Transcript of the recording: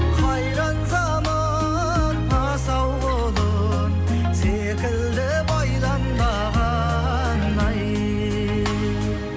қайран заман асау құлын секілді байланбаған ай